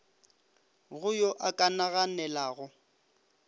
go yo a ka naganelago